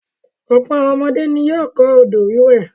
Ọ̀pọ̀ àwọn ọmọdé ni yóò kọ́ odò-wíwẹ̀.